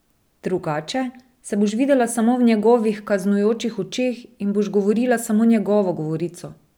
Drugače se boš videla samo v njegovih kaznujočih očeh in boš govorila samo njegovo govorico.